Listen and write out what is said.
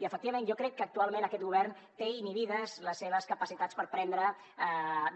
i efectivament jo crec que actualment aquest govern té inhibides les seves capacitats per prendre